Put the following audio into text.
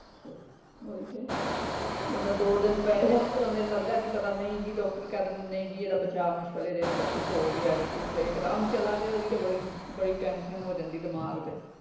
ਓਹੀ ਤੇ ਬੰਦਾ ਦੋ ਦਿਨ ਪੈ ਜੇ ਤੇ ਲਗਦਾ ਹੈ ਨਹੀਂ ਜੀ ਡਾਕਟਰ ਕਹਿ ਦੇਣ ਨਹੀਂ ਜੀ ਇਹਦਾ ਬਚਾਅ ਮੁਸ਼ਕਿਲ ਏ ਇਹਦੇ ਅੰਦਰ ਕੁਛ ਹੋਗਿਆ ਕੁਛ ਇਕਦਮ ਚਲਾ ਜਾਏ ਓਹਦੀ ਤੇ ਬੜੀ ਬੜੀ ਟੈਨਸ਼ਨ ਹੋ ਜਾਂਦੀ ਦਿਮਾਗ ਤੇ।